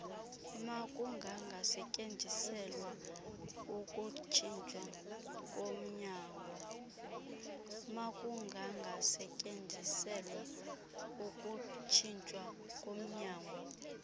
makungangasetyenziselwa ukutshitshwa komnyangwa